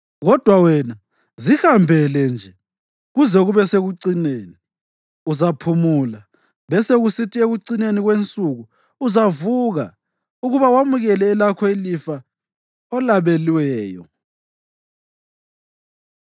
“Kodwa wena, zihambele nje kuze kube sekucineni. Uzaphumula, besekusithi ekucineni kwensuku uzavuka ukuba wamukele elakho ilifa olabelweyo.”